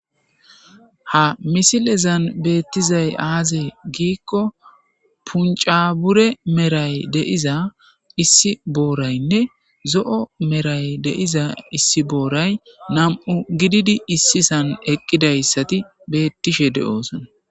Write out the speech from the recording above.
ha misilezan beettizay aazee giikko punca bure maray de7iza issi booraynne zo7o maray de7iza issi booray nam7u gididi issison eqqidayssati beettishe de7oosona